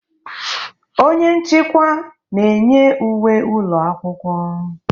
Onye nchịkwa na-enye uwe ụlọ akwụkwọ.